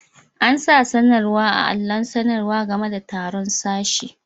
An'sa sanarwa a'alon sanarwa game da taru'n sashe.